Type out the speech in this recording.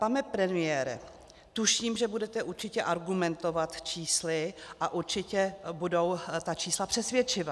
Pane premiére, tuším, že budete určitě argumentovat čísly a určitě budou ta čísla přesvědčivá.